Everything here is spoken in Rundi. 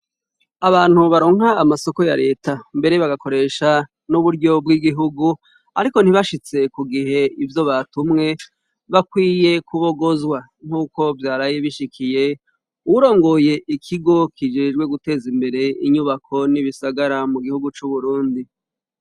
Abantu baronka amasoko ya leta mbere bagakoresha n'uburyo bw'igihugu ariko ntibashitse ku gihe ivyo batumwe, bakwiye kubogozwa, nk'uko vyaraye bishikiye uwurongoye ikigo kijejwe guteza imbere inyubako n'ibisagara mu gihugu c'uburundi.